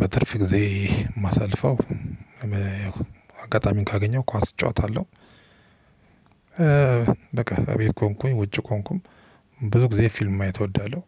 በትርፍ ጊዜ ማሳልፈው ያው አጋጣሚውን ካገኘሁ ኳስ እጫወታለሁ። በቃ እቤት ከሆንኩኝ ውጪ ከሆንኩም ብዙ ጊዜ ፊልም ማየት እወዳለሁ።